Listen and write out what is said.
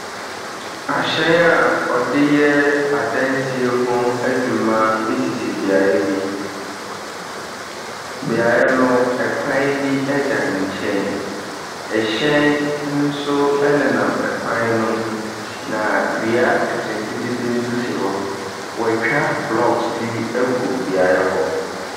Ahyɛn a wɔde adansie ho adwuma esisi beaeɛ bi. Beaeɛ no, ɛkwan bi da nkyɛn. Ɛhyɛn nso nenam ɛkwan no mu. Na dua nkete nkete bi nso si hɔ. Wɔatwa blocks bi agu beaeɛ hɔ.